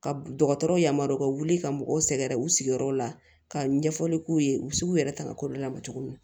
Ka dɔgɔtɔrɔw yamaruya wuli ka mɔgɔw sɛgɛrɛ u sigiyɔrɔ la ka ɲɛfɔli k'u ye u bɛ se k'u yɛrɛ ta ka kɔrɔlaban tuguni